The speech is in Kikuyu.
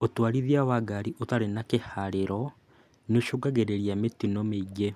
ũtwarithia wa ngari ũtarĩ na kĩharĩro nĩũcũngagĩrĩria mĩtino mĩingĩ